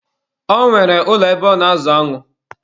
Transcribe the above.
Ọ nwere ụlọ ebe ọ na-azụ aṅụ.